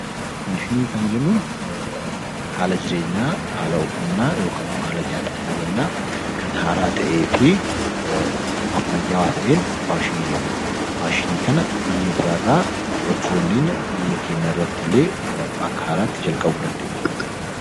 Faashinii jechuun haala uffannaa yookaan haala nyaataa ta'uu danda'a kan haaraa ta'ee fi ammayyaawaa ta'een faashinii jennaan. Faashinii kana biyya biraarraa fudhachuu dandeenya. Biyya keenyatti illee haala haaraadhaan eegaluu dandeenya.